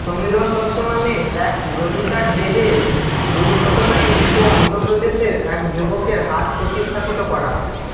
সমীরণ দত্ত নামে এক গ্রহীতার দেহে দুর্ঘটনায় মৃত অন্ধ্রপ্রদেশের এক যুবকের হার্ট প্রতিস্থাপিত করা